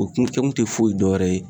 O kun kege te foyi dɔn wɛrɛ ye